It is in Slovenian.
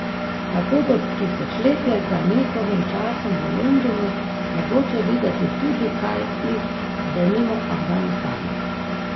Tako bo tisočletje za njihovim časom v Londonu mogoče videti tudi kaj iz, denimo, Afganistana.